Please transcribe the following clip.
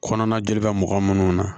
Kɔnɔna gɛrɛ mɔgɔ munnu na